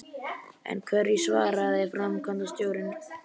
En hverju svaraði framkvæmdastjórinn?